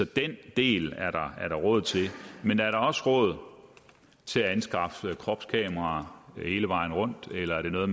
den del er der råd til men er der også råd til at anskaffe kropskameraer hele vejen rundt eller er det noget